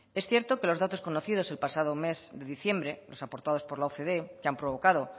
es cierto que los datos conocidos el pasado mes de diciembre los aportados por la ocde que han provocado